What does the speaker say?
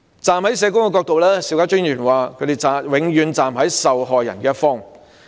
站在社工的角度，邵家臻議員說他們永遠站在受害人的一方。